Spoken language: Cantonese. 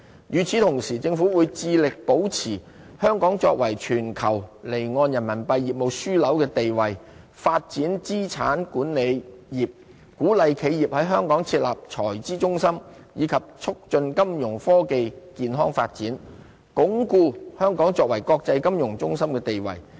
與此同時，政府會致力保持香港作為全球離岸人民幣業務樞紐的地位、發展資產管理業、鼓勵企業於香港設立財資中心，以及促進金融科技健康發展，鞏固香港作為國際金融中心的地位。